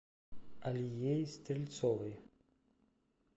алией стрельцовой